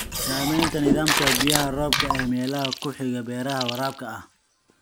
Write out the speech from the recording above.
Saamaynta nidaamka biyaha roobka ee meelaha ku xiga beeraha waraabka ah.